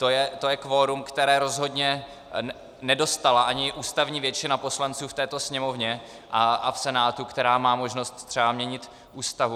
To je kvorum, které rozhodně nedostala ani ústavní většina poslanců v této Sněmovně a v Senátu, která má možnost třeba měnit Ústavu.